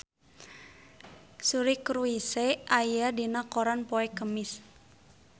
Suri Cruise aya dina koran poe Kemis